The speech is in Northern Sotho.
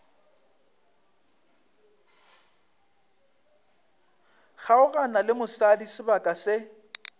kgaogana le mosadi sebaka se